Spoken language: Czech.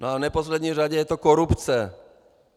No a v neposlední řadě je to korupce.